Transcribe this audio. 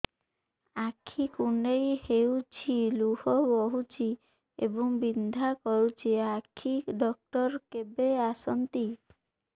ଆଖି କୁଣ୍ଡେଇ ହେଉଛି ଲୁହ ବହୁଛି ଏବଂ ବିନ୍ଧା କରୁଛି ଆଖି ଡକ୍ଟର କେବେ ଆସନ୍ତି